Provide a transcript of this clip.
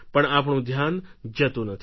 પણ આપણું ધ્યાન જતુ નથી